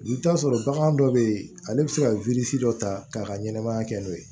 I bɛ taa sɔrɔ bagan dɔ bɛ yen ale bɛ se ka dɔ ta k'a ka ɲɛnɛmaya kɛ n'o ye